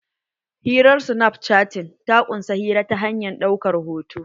Hirar snapchatting ta ƙunsa hira ta hanyar ɗaukar hoto.